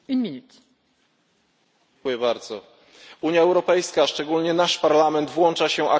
Unia Europejska, szczególnie nasz Parlament, włącza się aktywnie do procesu pokojowego na Bliskim Wschodzie.